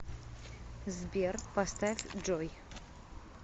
сбер поставь джой